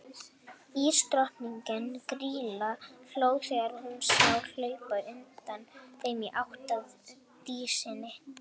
Ísdrottningin, Grýla, hló þegar hún sá þá hlaupa undan þeim í átt að Dísinni.